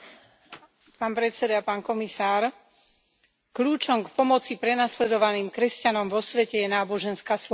Vážený pán predseda, pán komisár, kľúčom k pomoci prenasledovaným kresťanom vo svete je náboženská sloboda.